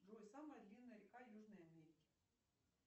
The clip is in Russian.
джой самая длинная река южной америки